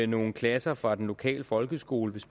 nogle klasser fra den lokale folkeskole